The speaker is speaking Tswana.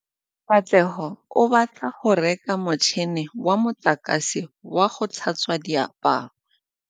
Katlego o batla go reka motšhine wa motlakase wa go tlhatswa diaparo.